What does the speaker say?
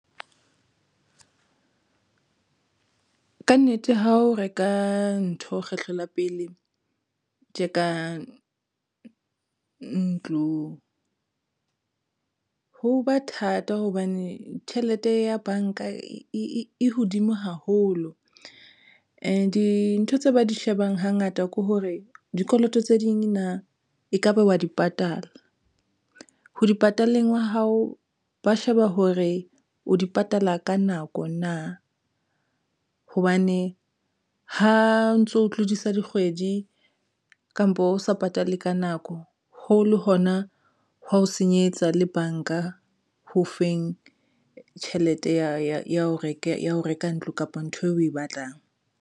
Ka nnete, ha o reka ntho kgetlo la pele tje ka ntlo ho ba thata hobane tjhelete ya banka e hodimo haholo and dintho tse ba di shebang, hangata ke hore dikoloto tse ding na ekaba wa di patala ho di pataleng wa hao, ba sheba hore o di patala ka nako na hobane ha o ntso tlodisa dikgwedi kampo e o sa patale ka nako ho le hona hwa ho senyetsa le banka ho feng tjhelete ya ho reka ntlo kapa ntho eo o e batlang.